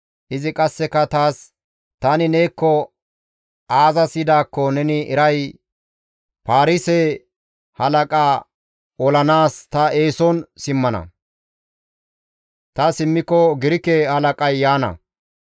Izi qasseka taas, «Tani neekko aazas yidaakko neni eray? Paarise halaqaa olanaas ta eeson simmana; ta simmiko Girke halaqay yaana.